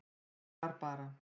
Ég var bara.